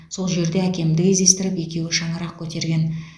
сол жерде әкемді кездестіріп екеуі шаңырақ көтерген